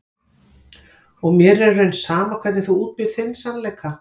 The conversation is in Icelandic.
Og mér er í raun sama hvernig þú útbýrð þinn sannleika.